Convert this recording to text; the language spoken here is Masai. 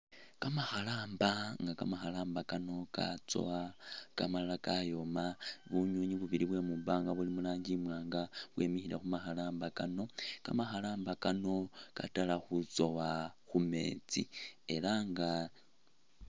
Kamakharamba inga kamakhalamba kano katsowa inga malala kayoma bunyunyi bubili bwemwibanga buli mulangi imwanga bwimikhile khumakhalamba kano, kamakhalamba kano katala khutsowa khumeetsi elanga